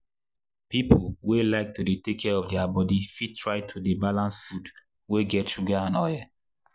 people wey like to take care of their body fit try to dey balance food wey get sugar and oil.